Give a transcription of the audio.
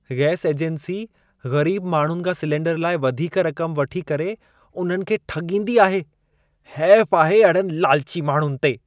Gas agency ग़रीब माण्हुनि खां सिलिंडर लाइ वधीक रकम वठी करे उन्हनि खे ठॻींदी आहे। हैफ आहे अहिड़नि लालची माण्हुनि ते!